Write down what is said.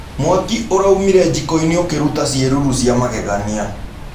Mwakĩ ũraũmĩre jĩkoĩnĩ ũkĩrũta cĩerũrũ cĩa mageganĩa.